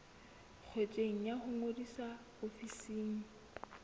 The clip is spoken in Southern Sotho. ngotsweng ya ho ngodisa ofising